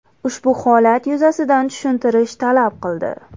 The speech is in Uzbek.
Ushbu holat yuzasidan tushuntirish talab qildi.